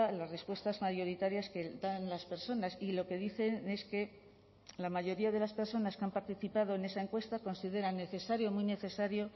las respuestas mayoritarias que dan las personas y lo que dicen es que la mayoría de las personas que han participado en esa encuesta consideran necesario o muy necesario